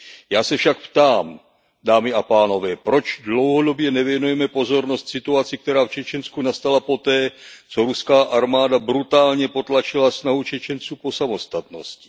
Já se však ptám, dámy a pánové, proč dlouhodobě nevěnujeme pozornost situaci, která v Čečensku nastala poté, co ruská armáda brutálně potlačila snahu Čečenců po samostatnosti?